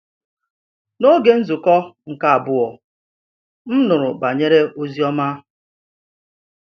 N’oge nzukọ nke abụọ, m nụrụ banyere ozioma.